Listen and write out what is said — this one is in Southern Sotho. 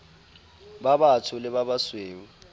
ba batsho le ba basweu